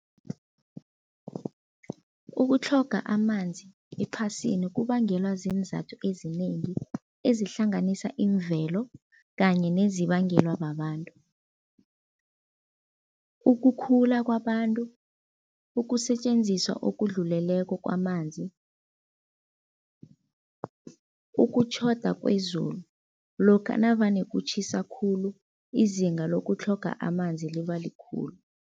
Ukutlhoga amanzi ephasini kubangelwa ziinzathu ezinengi ezihlanganisa imvelo kanye nezibangelwa babantu. Ukukhula kwabantu, ukusetjenziswa okudluleleko kwamanzi, ukutjhoda kwezulu, lokha navane kutjhisa khulu izinga lokutlhoga amanzi liba likhulu.